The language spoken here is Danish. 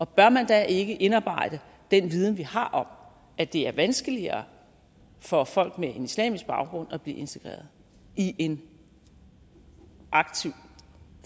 bør man da ikke indarbejde den viden vi har om at det er vanskeligere for folk med en islamisk baggrund at blive integreret i en aktiv